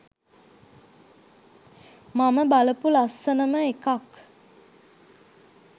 මම බලපු ලස්සනම එකක්